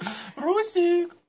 русик